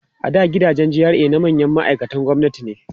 a da gidajen GRA na manyan ma'aikatan gwamnati ne